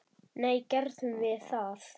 Nei, gerðum við það?